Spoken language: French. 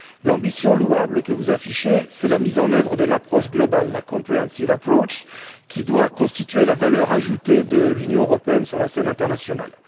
L'ambition louable que vous affichez, c'est la mise en œuvre de l'approche globale la comprehensive approach qui doit constituer la valeur ajoutée de l'Union européenne sur la scène internationale.